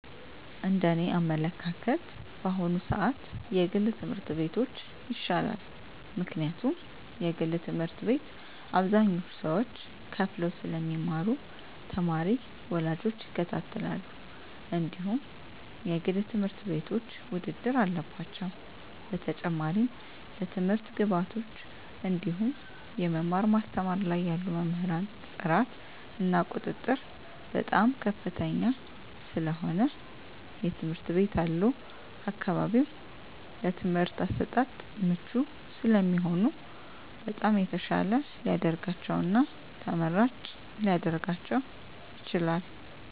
እንደ እኔ አመለካከት በአሁኑ ስዓት የግል ትምህርት ቤቶች ይሻላል ምክንያቱም የግል ትምህርት ቤት አብዛኞቹ ሰዎች ከፈለው ስለሚማሩ ተማሪ ወላጆች ይከታተላሉ እንድሁም የግል ትምህርት ቤቶች ውድድር አለባቸው በተጨማሪም ለትምህርት ግብዓቶች እንድሁም የመማር ማስተማር ላይ ያሉ መምህራን ጥራት እና ቁጥጥር በጣም ከፍተኛ ስለሆነ የትምህርት ቤት ያሉ አካባቢው ለትምህርት አሰጣጥ ምቹ ስለሚሆኑ በጣም የተሻለ ሊደርጋቸው እና ተመራጭ ሊረጋቸው ይችላል።